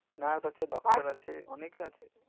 nurse আছে doctor আছে অনেকেই আছে